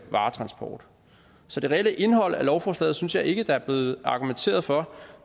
varetransport så det reelle indhold af lovforslaget synes jeg ikke der er blevet argumenteret for